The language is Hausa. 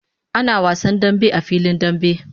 Ana wasan dambe a filin dambe